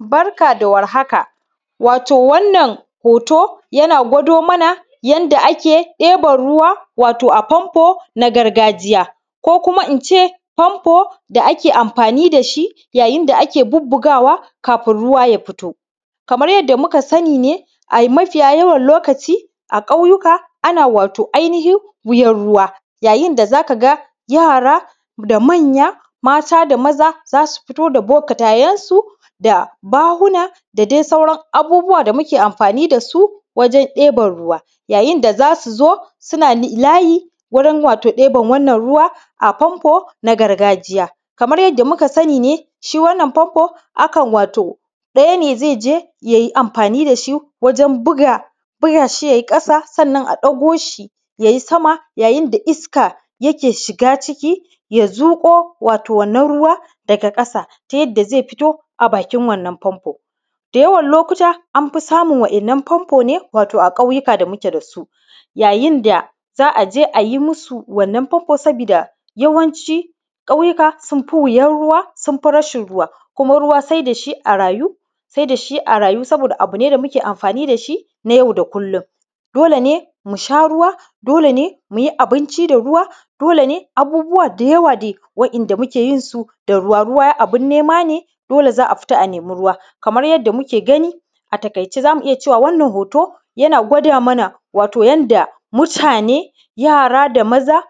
Barka da warhaka, wato wannan hoto yana gwado mana yanda ake deban ruwa wato a famfo na gargajiya, ko kuma ince famfo da ake amfani dashi yayinda ake bubugawa kafin ruwa ya fito. Kamar yadda muka sani ne ai mafiya yawan lokaci a ƙauyuka ana wato ainihin wuyan ruwa, ya yinda zaka ga yara da manya, mata da maza za su fito da bakarayensu da bahuna da dai sauran abubuwa da muke amfani dasu wajen deban ruwa. Ya yinda za su zo suna layi, wurin wato ɗeban wannan ruwa a famfo na gargajiya. Kamar yadda muka sani ne, shi wannan famfo akan wato daya ne ze je yayi amfani dashi wajen buga shi ya yi ƙasa, sannan a dago shi yayi sama, yayin da iska yake shiga ciki, ya zuko wato wannan Da yawan lokuta amfi samun wa’innan famfo ne wato a ƙauyuka da muke dasu, yayin da za aje ayi musu wannan famfo sabida yawanci ƙauyuka sun fi wuyan ruwa, sun fi rashin ruwa, kuma ruwa sai dashi a rayu, sai da shi a rayu saboda abu ne da muke amfani dashi na yau da kullum, dole ne musha ruwa, dole ne muyi abinci da ruwa, dole ne abubuwa da yawa dai wa’inada muke yin su da ruwa, ruwa abin nema ne, dole za a fita a nemi ruwa. Kamar yadda muke gani a takaice zamu iya cewa wannan hoto yana gwada mana wato yanda mutane, yara da maza,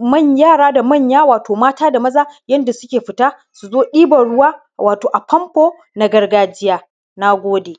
manya, yara da manya, wato mata da maza yanda suke fita zu zo ɗiban ruwa, wato a famfo na gargajiya. Na gode.